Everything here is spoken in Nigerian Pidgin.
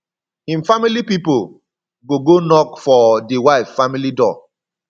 him family pipol go go knock for di wife family door